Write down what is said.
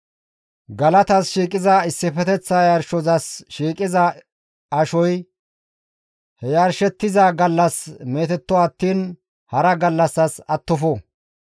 Galatas shiiqiza issifeteththa yarshozas shiiqiza ashoy he yarshettiza gallas meetetto attiin hara gallassas attofo.